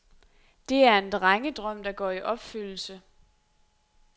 Det er en drengedrøm, der går i opfyldelse.